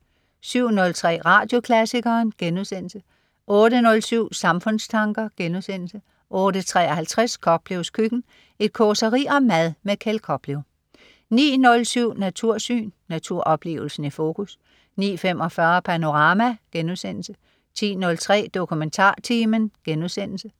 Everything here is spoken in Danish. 07.03 Radioklassikeren* 08.07 Samfundstanker* 08.53 Koplevs køkken. Et causeri om mad. Kjeld Koplev 09.07 Natursyn. Naturoplevelsen i fokus 09.45 Panorama* 10.03 DokumentarTimen*